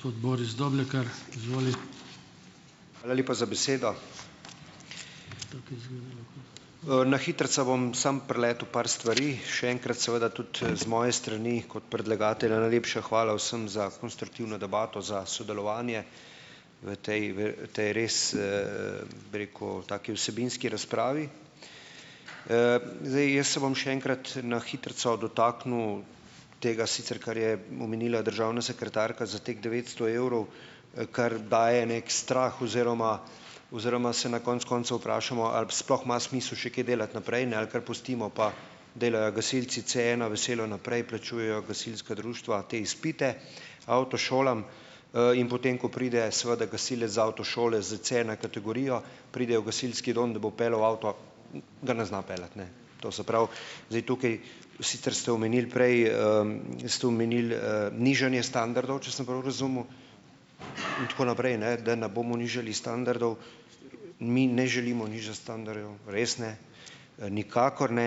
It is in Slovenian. Hvala lepa za besedo. Na hitrico bom samo preletel par stvari. Še enkrat seveda tudi, z moje strani, kot predlagatelja najlepša hvala vsem za konstruktivno debato, za sodelovanje v tej, v tej res, bi rekel, taki vsebinski razpravi. zdaj jaz se bom še enkrat na hitrico dotaknil tega, sicer kar je omenila državna sekretarka za teh devetsto evrov, kar daje neki strah oziroma oziroma se na konec koncev vprašamo, a sploh ima smisel še kaj delati naprej, ne, ali kar pustimo pa delajo gasilci Cena veselo naprej, plačujejo gasilska društva te izpite avtošolam, in potem ko pride seveda gasilec iz avtošole s Cena kategorijo, pride v gasilski dom, da bo peljal avto, ga ne zna peljati, ne, to se pravi zdaj tukaj. Sicer ste omenili prej, ste omenili, nižanje standardov, če sem prav razumel, in tako naprej, ne, da ne bomo nižali standardov. Mi ne želimo nižati standardov, res ne, nikakor ne,